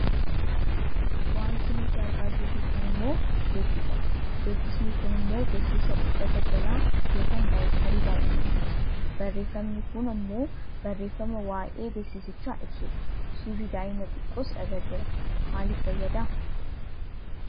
Wanti nuti argaa jirru kun ammoo beeksisadha. Beeksisni kun ammoo beeksisa uffata jalaa yookaan daayiperii daa'immaniiti. Barreefamni kun ammoo barreefama waayee beeksisichaa ibsudha. Suurri daa'ima xiqqoos irra jira. Maaliif fayyada?